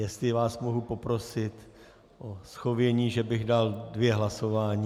Jestli vás mohu poprosit o shovění, že bych dal dvě hlasování.